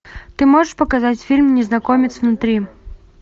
ты можешь показать фильм незнакомец внутри